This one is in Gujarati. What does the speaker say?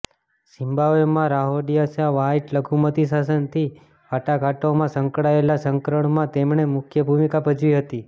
ઝિમ્બાબ્વેમાં રહોડિસિયામાં વ્હાઇટ લઘુમતી શાસનથી વાટાઘાટોમાં સંકળાયેલા સંકરણમાં તેમણે મુખ્ય ભૂમિકા ભજવી હતી